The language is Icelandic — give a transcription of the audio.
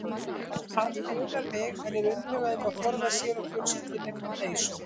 Hann grunar mig, en er umhugað um að forða sér og fjölskyldunni frá hneisu.